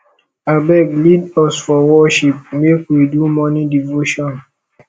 abeg lead us for worship make we do morning devotion